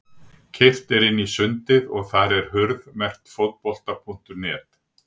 Keyrt er inn sundið og þar er hurð merkt Fótbolta.net.